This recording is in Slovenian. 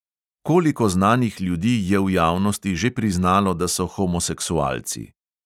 Koliko znanih ljudi je v javnosti že priznalo, da so homoseksualci.